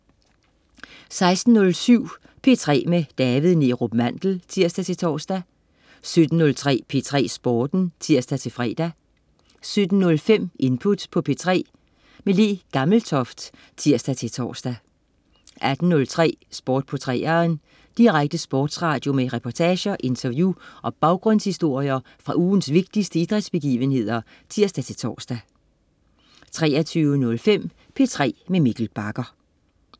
16.07 P3 med David Neerup Mandel (tirs-tors) 17.03 P3 Sporten (tirs-fre) 17.05 Input på P3. Le Gammeltoft (tirs-tors) 18.03 Sport på 3'eren. Direkte sportsradio med reportager, interview og baggrundshistorier fra ugens vigtigste idrætsbegivenheder (tirs-tors) 23.05 P3 med Mikkel Bagger